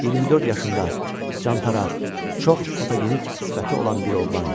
24 yaşında çantaq, çox fotogenik sifəti olan bir oğlan idi.